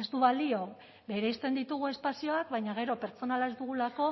ez du balio bereizten ditugu espazioak baina gero pertsonala ez dugulako